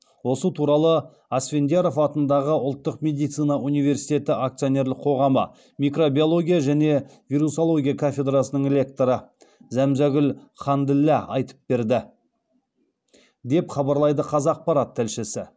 осы туралы асфендияров атындағы ұлттық медицина университеті акционерлік қоғамы микробиология және вирусология кафедрасының лекторы зәмзәгүл ханділла айтып берді деп хабарлайды қазақпарат тілшісі